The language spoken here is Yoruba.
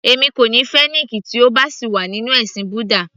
Èmi kò ní fẹ́ Nick tí ó bá sì wà nínú ẹ̀sìn búdà